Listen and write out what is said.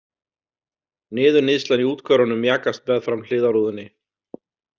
Niðurníðslan í úthverfunum mjakast meðfram hliðarrúðunni.